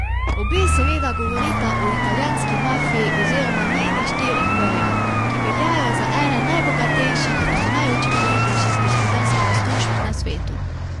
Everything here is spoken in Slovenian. Obe seveda govorita o italijanski mafiji oziroma njenih štirih vejah, ki veljajo za ene najbogatejših in najučinkovitejših gospodarskih združb na svetu.